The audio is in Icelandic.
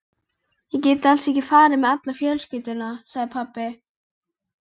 Ég get alls ekki farið með alla fjölskylduna, sagði pabbi.